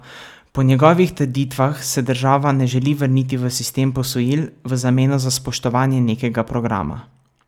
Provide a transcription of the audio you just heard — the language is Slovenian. Po njegovih trditvah se država ne želi vrniti v sistem posojil v zameno za spoštovanje nekega programa.